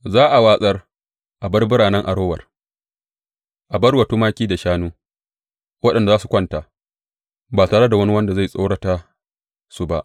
Za a watse a bar biranen Arower a bar wa tumaki da shanu, waɗanda za su kwanta, ba tare da wani wanda zai tsorata su ba.